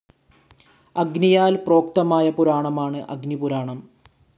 അഗ്നിയാൽ പ്രോക്തമായ പുരാണമാണ് അഗ്നിപുരാണം.